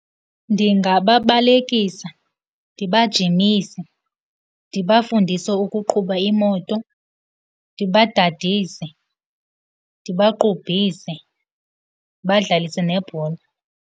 Ndingababalekisa, ndibajimise, ndibafundise ukuqhuba imoto, ndibadadise, ndibaqubhise, ndibadlalise nebhola.